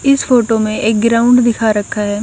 इस फोटो में एक गिराउंड दिखा रखा है।